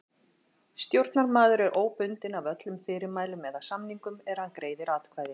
Stjórnarmaður er óbundinn af öllum fyrirmælum eða samningum er hann greiðir atkvæði.